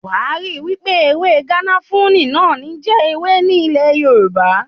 Wàá ríi wípé ewé garafuni náà ní ń jẹ́ ewé ní ilẹ̀ Yorùbá.